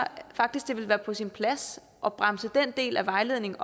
faktisk at det ville være på sin plads at bremse den del af vejledningen